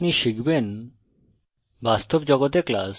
in tutorial আপনি শিখবেন